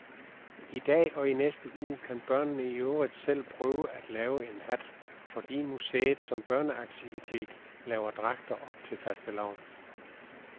I dag og i næste uge kan børnene i øvrigt selv prøve at lave en hat, fordi museet som børneaktivitet laver dragter op til fastelavn.